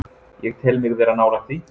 Ég tel mig vera nálægt því.